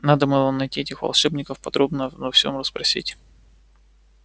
надо было найти этих волшебников подробно обо всем расспросить